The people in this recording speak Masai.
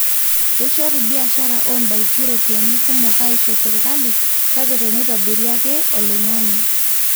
keishoru biashara oo ndaiki ropiyani kumok aisho serikali kake teneitobiri ake olingange